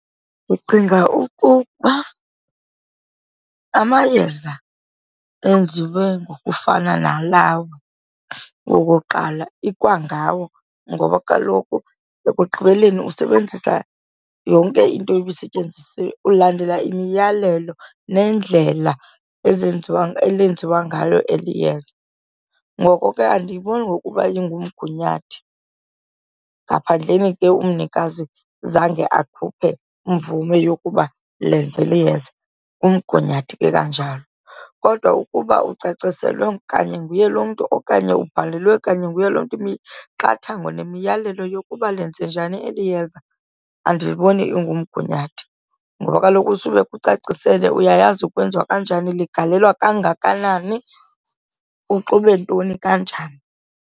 Ndicinga okokuba amayeza enziwe ngokufana nalawo wokuqala ikwangawo ngoba kaloku ekugqibeleni usebenzisa yonke into ebisetyenzisiwe, ulandela imiyalelo nendlela ezenziwa elenziwa ngalo eli yeza. Ngoko ke andiyiboni ngokuba lingumgunyathi, ngaphandleni ke umnikazi zange akhuphe mvume yokuba lenze eli yeza, ngumgunyathi ke kanjalo. Kodwa ukuba ucaciselwe kanye nguye lo mntu okanye ubhalelwe kanye nguye lo mntu imiqathango nemiyalelo yokuba lenze njani eli yeza andiboni ingumgunyathi. Ngoba kaloku usube ekucacisele, uyayazi kwenziwa kanjani, ligalelwa kangakanani, uxube ntoni kanjani.